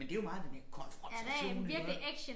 Men det jo meget den der konfrontation iggå